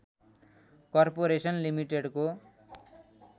corporation लिमिटेडको